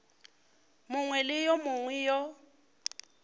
mongwe le yo mongwe yo